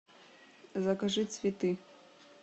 закажи цветы